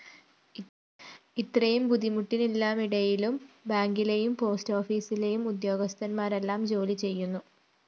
ഇത്രയും ബുദ്ധിമുട്ടിനെല്ലാമിടയിലും ബാങ്കിലെയും പോസ്റ്റാഫീസിലെയും ഉദ്യോഗസ്ഥരെല്ലാം ജോലി ചെയ്യുന്നു